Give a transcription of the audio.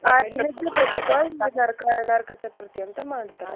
ಆ ದಿನದ್ದು ಪ್ರತೀಕ ಈ ನರಕ ನರಕ ಚತುರ್ಥಿ ಅಂತ ಮಾಡ್ತಾರ.